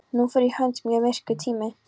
Nú fór í hönd mjög myrkur tími.